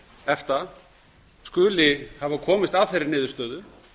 efta skuli hafa komist að þeirri niðurstöðu